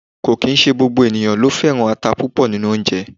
kò kín se gbogbo eniyan ló féran ata púpò ninu onje